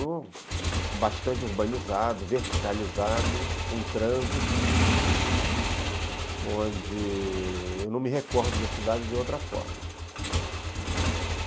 bastante urbanizado, verticalizado, com trânsito, onde... eu não me recordo da cidade de outra forma.